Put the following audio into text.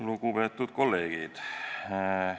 Lugupeetud kolleegid!